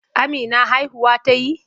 Amina haihuwa ta yi?